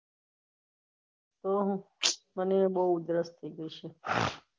હા હું મને બહુ ઉદ્રષ થઇ ગયી છે